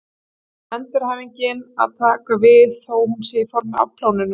Síðan á endurhæfingin að taka við, þó hún sé í formi afplánunar.